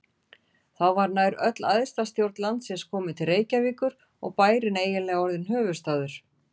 Þá var nær öll æðsta stjórn landsins komin til Reykjavíkur og bærinn eiginlega orðinn höfuðstaður.